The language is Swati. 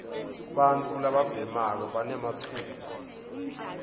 bantfu lababhemako banematfuba